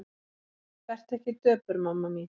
Vertu ekki döpur mamma mín.